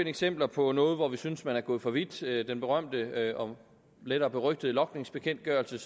eksempler på noget hvor vi synes at man er gået for vidt den berømte og lettere berygtede logningsbekendtgørelse